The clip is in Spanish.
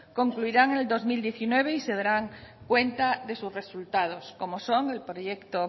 concluirán en el dos mil diecinueve y se darán cuenta de sus resultados como son el proyecto